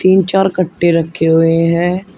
तीन चार गट्टे रखे हुए हैं।